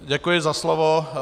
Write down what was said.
Děkuji za slovo.